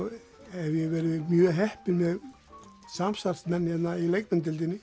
hef ég verið mjög heppinn með samstarfsmenn hérna í